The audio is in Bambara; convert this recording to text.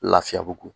Lafiyabugu